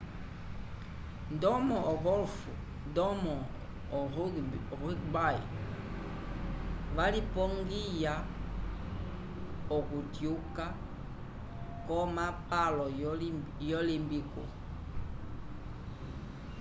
ndomo ogolf ndomo o rugby valipongiya oku tyuka ko mapalo yo limpico